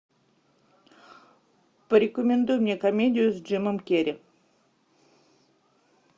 порекомендуй мне комедию с джимом керри